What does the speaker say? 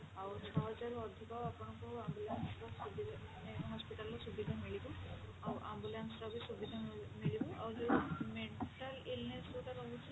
ଆଉ ଛଅ ହଜାରରୁ ଅଧିକ ଆପଣଙ୍କୁ ambulance ର ସୁବିଧା ରହୁଛି ମାନେ hospital ରେ ସୁବିଧା ମିଳିବ ଆଉ ambulance ର ବି ସୁବିଧା ମିଳିବ ଆଉ ଯୋଉ mental illness ଯଉଟା ରହୁଛି